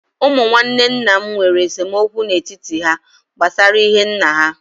Ụmụ nwanne nna m nwèrè esemokwu n'etiti há gbásárá ihe nnà ha